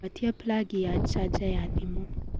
gwatia plagi ya chaja ya thimu